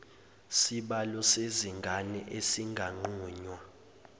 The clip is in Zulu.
sibalo sezingane esinganqunywa